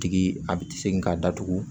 Tigi a bɛ segin k'a datugu